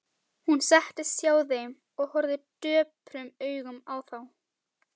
Hún settist hjá þeim og horfði döprum augum á þá.